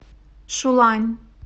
шулань